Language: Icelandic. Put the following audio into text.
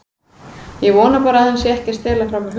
Ég vona bara að hann sé ekki að stela frá mér hugmyndum.